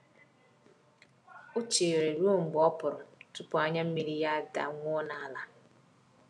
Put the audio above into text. O chere ruo mgbe ọpụrụ tupu anya mmiri ya daa awụọ n'ala.